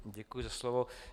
Děkuji za slovo.